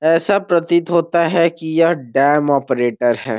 ऐसा प्रतीत होता है की ये डैम ऑपरेटर है।